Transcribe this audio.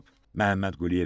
Məhəmməd Quliyev isə dedi ki,